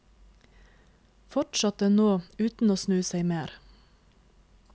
Fortsatte nå, uten å snu seg mer.